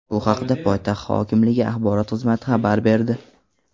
Bu haqda poytaxt hokimligi axborot xizmati xabar berdi .